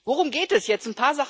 Worum geht es jetzt?